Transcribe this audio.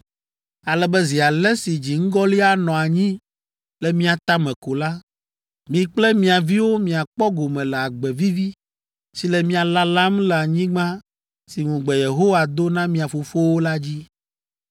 ale be zi ale si dziŋgɔli anɔ anyi le mia tame ko la, mi kple mia viwo miakpɔ gome le agbe vivi si le mia lalam le anyigba si ŋugbe Yehowa do na mia fofowo la dzi.